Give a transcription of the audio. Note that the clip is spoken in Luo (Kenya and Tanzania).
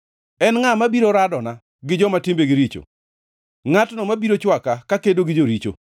En ngʼa mabiro radona gi joma timbegi richo? Ngʼatno mabiro chwaka kakedo gi joricho?